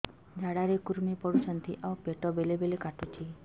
ଝାଡା ରେ କୁର୍ମି ପଡୁଛନ୍ତି ଆଉ ପେଟ ବେଳେ ବେଳେ କାଟୁଛି